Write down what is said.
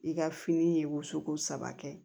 I ka fini ye wosoko saba kɛ